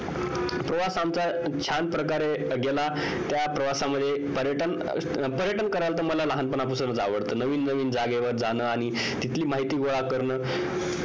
प्रवास आमचा छान प्रकारे गेला त्या प्रवासामध्ये पर्यटन पर्यटनकरायला मला लहानपणा पासूनच आवडत नवीन नवीन जागेवर जण आणि तिथली माहिती गोळा करण